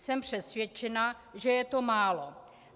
Jsem přesvědčena, že je to málo.